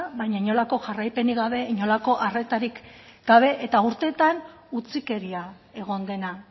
baina inolako jarraipenik gabe inolako arretarik gabe eta urteetan utzikeria egon dena